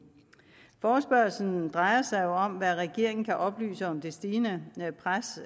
forespørgslen drejer sig jo om hvad regeringen kan oplyse om det stigende pres